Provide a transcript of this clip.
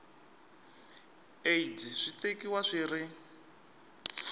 aids swi tekiwa swi ri